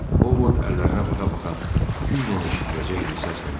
O Vot əllərinə baxa-baxa güclə eşidiləcək bir səslə dedi: